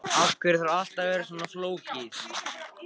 Af hverju þarf allt að vera svona flókið?